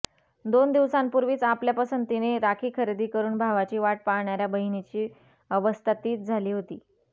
दोन दिवसापूर्वीच आपल्या पसंतीने राखी खरेदी करून भावाची वाट पाहणाऱया बहिणीची अवस्था तिच झाली होती